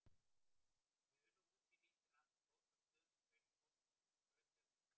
Í Unuhúsi nýtur hann aftur góðs af stöðugu streymi fólks af skrautlegasta tagi.